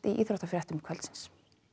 íþróttum kvöldsins